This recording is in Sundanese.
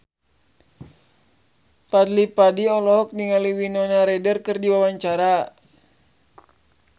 Fadly Padi olohok ningali Winona Ryder keur diwawancara